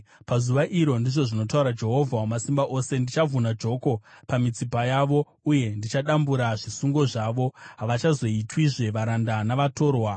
“ ‘Pazuva iro,’ ndizvo zvinotaura Jehovha Wamasimba Ose, ‘Ndichavhuna joko pamitsipa yavo uye ndichadambura zvisungo zvavo; havachazoitwizve varanda navatorwa.